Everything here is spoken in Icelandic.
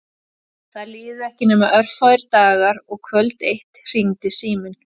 Það liðu ekki nema örfáir dagar og kvöld eitt hringdi síminn.